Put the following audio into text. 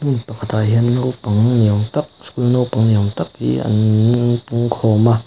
pakhatah hian naupang ni awm tak school naupang ni awm tak hi annn pung khawm a.